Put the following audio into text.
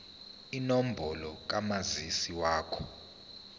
inombolo kamazisi wakho